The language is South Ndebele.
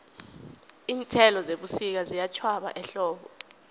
iinthelo zebusika ziyatjhwaba ehlobo